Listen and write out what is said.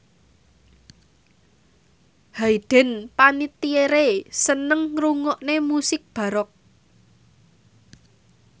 Hayden Panettiere seneng ngrungokne musik baroque